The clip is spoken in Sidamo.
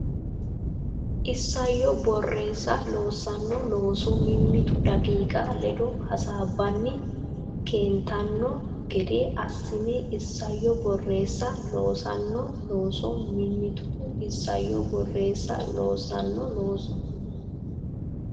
Isayyo Borreessa loossino looso mimmitu daqiiqa ledo hasaabbanni keentanno gede assi Isayyo Borreessa loossino looso mimmitu Isayyo Borreessa loossino looso.